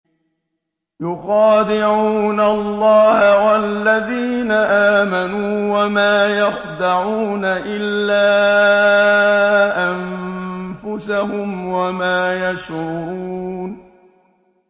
يُخَادِعُونَ اللَّهَ وَالَّذِينَ آمَنُوا وَمَا يَخْدَعُونَ إِلَّا أَنفُسَهُمْ وَمَا يَشْعُرُونَ